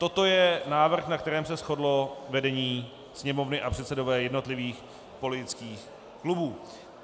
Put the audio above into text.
Toto je návrh, na kterém se shodlo vedení Sněmovny a předsedové jednotlivých politických klubů.